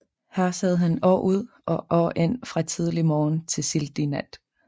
Der sad han år ud og år ind fra tidlig morgen til sildig nat